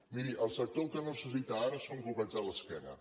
miri el sector el que no necessita ara són copets a l’esquena